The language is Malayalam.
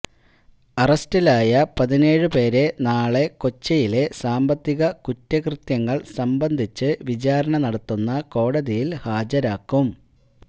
അറസ്റ്റിലായ പതിനേഴ് പേരെ നാളെ കൊച്ചിയിലെ സാമ്പത്തിക കുറ്റകൃത്യങ്ങൾ സംബന്ധിച്ച് വിചാരണ നടത്തുന്ന കോടതിയിൽ ഹാജരാക്കും